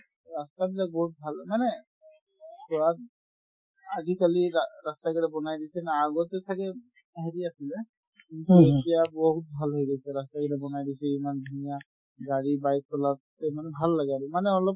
ৰাস্তাবিলাক বহুত ভাল মানে আজিকালিৰ ৰা~ ৰাস্তাবিলাক বনাই দিছে না আগতে ছাগে হেৰি আছিলে কিন্তু এতিয়া বহুত ভাল হৈ গৈছে ৰাস্তাখিনি বনাই দিছে ইমান ধুনীয়া গাড়ী bike চলাতে মানে ভাল লাগে আৰু মানে অলপ